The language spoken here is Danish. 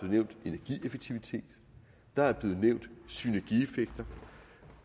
nævnt energieffektivitet der er blevet nævnt synergieffekter